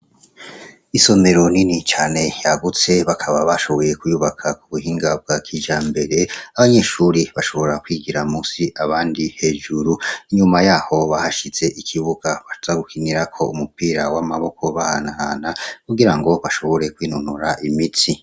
isomero nini cyane yagutse bakaba bashoboye kuyubaka ku buhinga bwa kija mbere abanyeshuri bashobora kwigira musi abandi hejuru inyuma yaho bahashitse ikibuga bazagukinira ko umupira w'amaboko bahanahana kugira ngo bashobore kwinonora imitsi